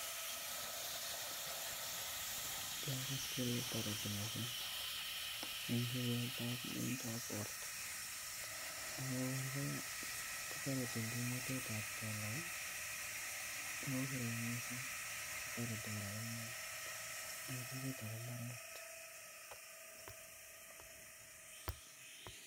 Kiagas kele tariti missing Eng borta akotariti Eng kimnatetet ap kelek